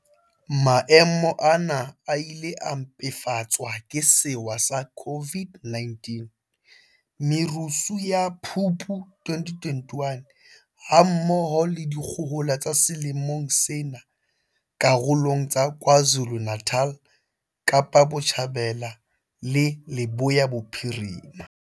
Maemo ana a ile a mpefatswa ke sewa sa COVID-19, merusu ya Phupu 2021, ha mmoho le dikgohola tsa selemong sena karolong tsa KwaZulu-Natal, Kapa Botjhabela le Leboya Bophirima.